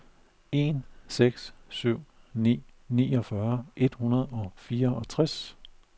en seks syv ni niogfyrre et hundrede og fireogtres